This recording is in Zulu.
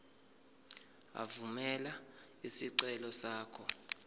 evumela isicelo sakho